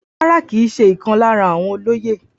Rárá, kìí ṣe ìkan lára àwọn olóyè